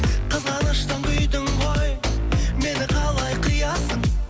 қызғаныштан күйдім ғой мені қалай қиясың